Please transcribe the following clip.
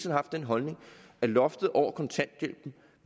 haft den holdning at loftet over kontanthjælpen